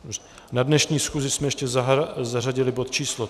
Na dnešní schůzi jsme ještě zařadili bod číslo